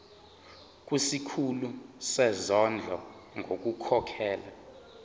kusikhulu sezondlo ngokukhokhela